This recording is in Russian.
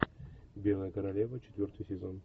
белая королева четвертый сезон